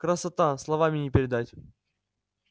красота словами не передать